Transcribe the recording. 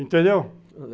Entendeu?